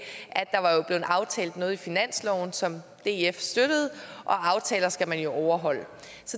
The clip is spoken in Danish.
der aftalt noget i finansloven som df støttede og at aftaler skal man jo overholde